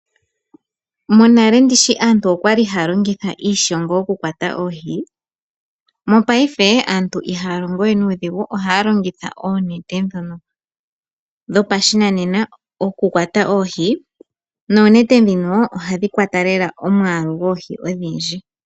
Monale ndishi aantu oya li haya longitha iishongo okukwata oohi, mopaife aantu ihaya longo we nuudhigu, ohaya longitha oonete ndhono dhopashinanena okukwata oohi. Oonete ndhika ohadhi kwata lela omwaalu goohi ogundji.